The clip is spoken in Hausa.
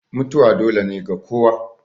mutuwa dole ne ga kowa